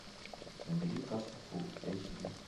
набери касл фул эйч ди